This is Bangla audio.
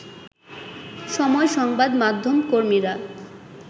সময় সংবাদ মাধ্যম কর্মীরা